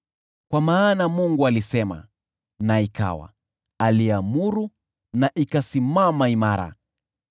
Kwa maana Mungu alisema, na ikawa, aliamuru na ikasimama imara.